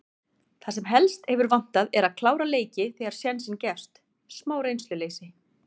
Það sem helst hefur vantað er að klára leiki þegar sénsinn gefst. smá reynsluleysi.